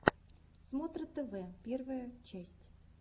смотра тв первая часть